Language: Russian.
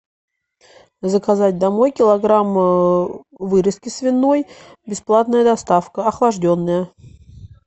заказать домой килограмм вырезки свиной бесплатная доставка охлажденная